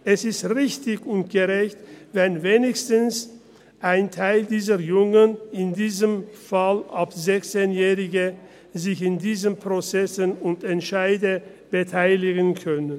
Es ist richtig und gerecht, wenn wenigstens ein Teil dieser Jungen, in unserem Fall ab 16 Jahren, sich an diesen Prozessen und Entscheiden beteiligen können.